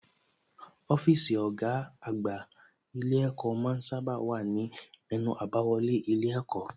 Ọ́fíìsì ọ̀gá àgbà ilé ẹ̀kọ́ ma ń sábà wà ní ẹnu àbáwọlé ilé ẹ̀kọ́